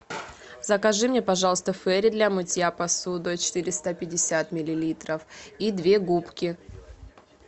закажи мне пожалуйста фейри для мытья посуды четыреста пятьдесят миллилитров и две губки